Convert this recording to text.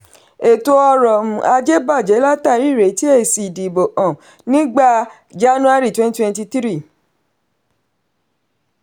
ètò ọrọ̀ um ajé bajẹ látàrí ìretí èsì ìdìbò um nígbà january twenty twenty three.